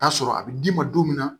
Taa sɔrɔ a bi d'i ma don min